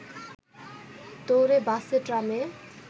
দৌড়ে বাসে ট্রামে